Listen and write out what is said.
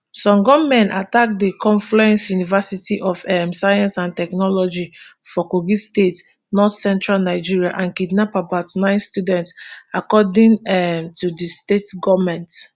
some gunmen attack di confluence university of um science and technology for kogi state northcentral nigeria and kidnap about nine students according um to di state goment